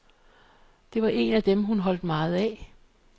Det var en af dem, hun holdt meget af.